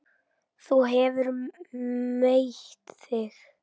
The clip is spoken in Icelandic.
Þú hefur meitt þig!